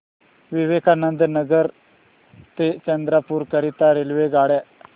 विवेकानंद नगर ते चंद्रपूर करीता रेल्वेगाड्या